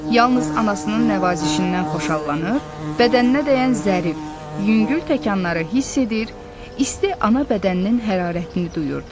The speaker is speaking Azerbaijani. Yalnız anasının nəvazişindən xoşallanır, bədəninə dəyən zərif, yüngül təkanları hiss edir, isti ana bədəninin hərarətini duyurdu.